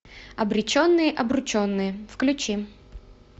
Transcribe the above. обреченные обрученные включи